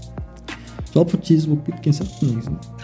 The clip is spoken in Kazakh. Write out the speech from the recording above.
жалпы тез болып кеткен сияқты